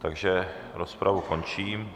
Takže rozpravu končím.